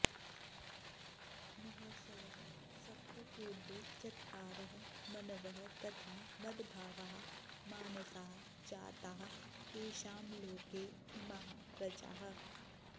महर्षयः सप्त पूर्वे चत्वारः मनवः तथा मद्भावाः मानसा जाताः येषां लोके इमाः प्रजाः